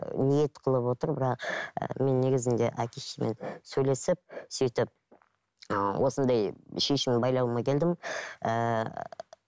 ниет қылып отыр бірақ мен негізінде әке шешеммен сөйлесіп сөйтіп осындай шешім байлауыма келдім ііі